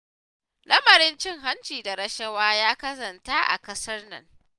Lamarin cin hanci da rashawa ya ƙazanta a ƙasar nan